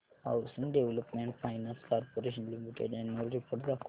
housing development finance corporation limited annual report दाखव